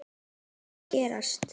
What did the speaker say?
Það þarf að gerast.